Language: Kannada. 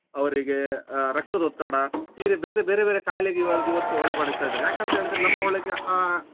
ರಕ್ತದೊತ್ತಡ ಈ ರೀತಿ ಬೇತೆ ಬೇರೆ ಬೇರೆ ಕಾಯಿಲೆಗೆ ಇವರದ್ ಇವತ್ತು ಒಳಪಡಿಸ್ತಾ ಇದ್ದಾರೆ ಯಾಕಂತೇಳಿದ್ರೆ ನಮ್ಮ ಒಳಗೆ ಆ.